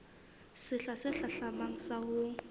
sehla se hlahlamang sa ho